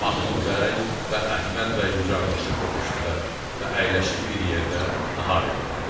Mahmud bəy və Əhməd bəy qucaqlaşıb öpüşdülər və əyləşib bir yerdə nahar etdilər.